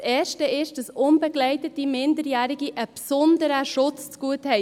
Die erste ist, dass unbegleitete Minderjährige einen besonderen Schutz zugute haben.